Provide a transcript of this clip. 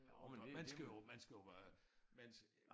Og man skal jo man skal jo øh man